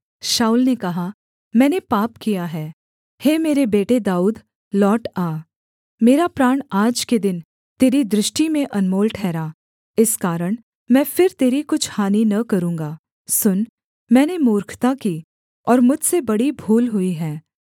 शाऊल ने कहा मैंने पाप किया है हे मेरे बेटे दाऊद लौट आ मेरा प्राण आज के दिन तेरी दृष्टि में अनमोल ठहरा इस कारण मैं फिर तेरी कुछ हानि न करूँगा सुन मैंने मूर्खता की और मुझसे बड़ी भूल हुई है